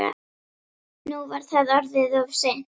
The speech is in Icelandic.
Nú var það orðið of seint.